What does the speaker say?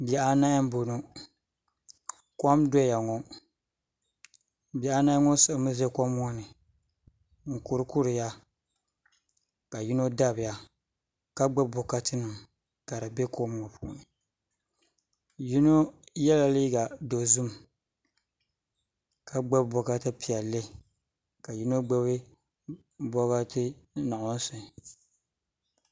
Bihi anahi n boŋo kom n doya ŋo bihi anahi ŋo siɣimi ʒɛ kom ŋo nin kuri kuriya ka yino dabiya ka gbubi bokati nima ka di bɛ kom ŋo puuni yino yɛla liiga dozim ka gbubi bokati piɛlli ka yino gbubi bokati nuɣso